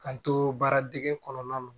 K'an to baara dege kɔnɔna na